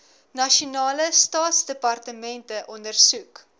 nasionale staatsdepartemente ondersoek